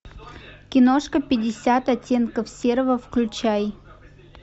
киношка пятьдесят оттенков серого включай